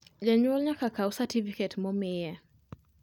Janyuol nyaka kaw satifiket momiye